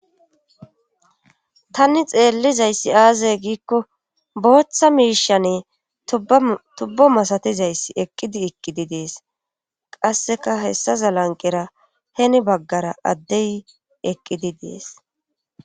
tanni xeellizayssi aazay giikko booththa miishane tubbo masatizayssi eqqidi eqqidi dees qasseka hessa zalanqera heni baggara addey eqqidi dees